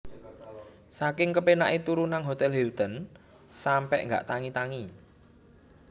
Saking kepenak e turu nang Hotel Hilton sampe gak tangi tangi